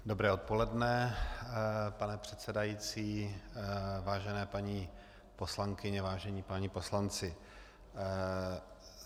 Dobré odpoledne, pane předsedající, vážené paní poslankyně, vážení páni poslanci.